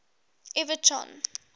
everton